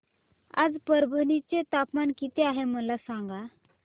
आज परभणी चे तापमान किती आहे मला सांगा